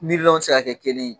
Milyɔn tɛ se ka kɛ kelen ye.